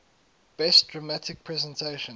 best dramatic presentation